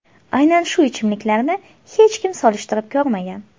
Aynan shu ichimliklarni hech kim solishtirib ko‘rmagan.